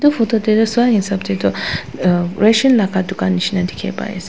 etu photo te toh sa hisab te toh ah ration laga dukan nishe na dikhi pai ase.